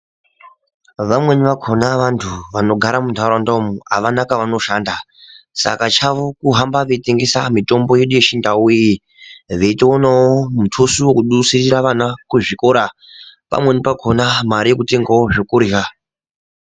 Vamweni vakona vantu vanogara muntaraunda umu havana kwavanoshanda saka chavo kuhamba veitengesa mitombo yechiantu iyi veyitowona mutuso wedusira vana muzvikora pamweni pakona mari yekutengawo zvekurya.